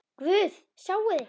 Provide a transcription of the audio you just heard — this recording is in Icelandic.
Guð, sjáiði!